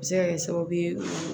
A bɛ se ka kɛ sababu ye